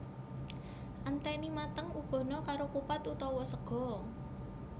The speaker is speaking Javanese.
Enteni mateng uguhna karo kupat utawa sega